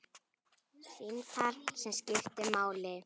Símtal sem skiptir máli